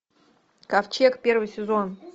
ковчег первый сезон